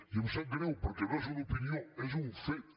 i em sap greu perquè no és una opinió és un fet